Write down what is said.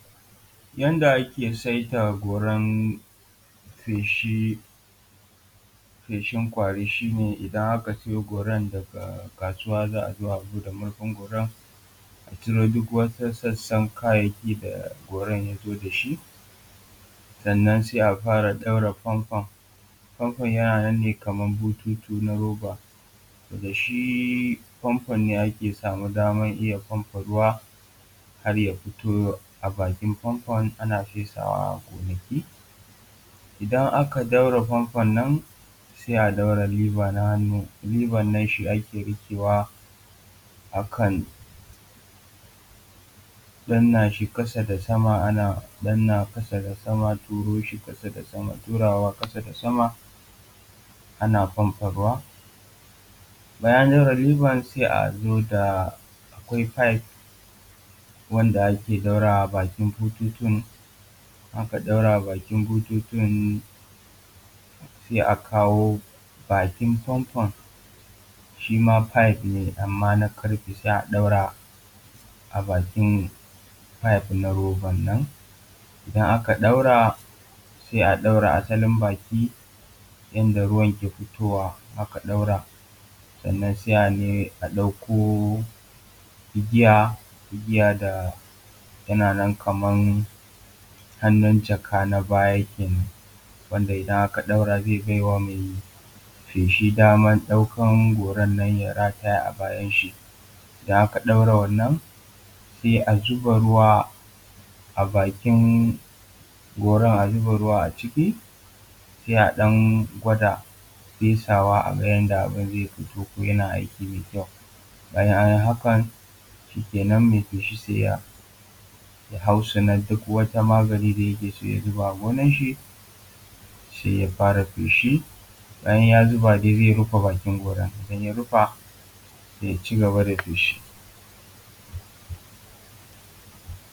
Yanda ake saida goran feshi. Feshin ƙwari shi ne idan aka siyo goran daga kasuwa, za a zo a buɗe murfin goran, a cire duk wata sassan kayayyaki da goran ya zo da shi, sannan sai a fara gyara fonfon fonfon. Fonfon yana nan ne kaman bututun na roba, wanda shi fonfon ne ake samu daman iya famfa ruwa har ya fito a bakin fanfon ana fesawa a gonaki. Idan aka ɗaura fanfon nan sai a ɗaure lever na hannu. cs] lever nan shi ake riƙewa akan danna shi ƙasa da sama ana danna sama da kasa a turo shi ƙasa da sama, turawa ƙasa da sama ana fanfon ruwa. Bayan an zuba sai a zo da akwai pipe wanda ake ɗaurawa a bakin bututu da aka ɗaura a bakin bututun sai a kawo bakin fanfon shi ma pipe ne, amman na ƙarfe sai a ɗaura a bakin pipe na roban nan idan aka ɗaura sai a ɗaura asalin baki inda ruwan ke fitowa. idan aka ɗaura sannan sai a ne a ɗauko igiya. Igiya da yana nan kaman hannun jaka na baya kenan wanda idan aka ɗaura zai bai wa mai feshi daman ɗaukan goran nan ya rataya a bayan shi. Don haka ɗaura wannan sai a zuba ruwa a bakin goran, a zuba ruwa a ciki sai a ɗan gwada fesawa a ga yanda abun zai fito yana aiki mai kyau. In an yi hakan shikenan mai feshi sai ya ya hautsina duk wata magani da yake so ya zuba a gonar shi, sai ya fara feshi. Bayan ya zuba zai rufe bakin goran, idan ya rufe sai ya cigaba da feshi.